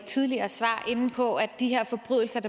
tidligere svar inde på at de her forbrydelser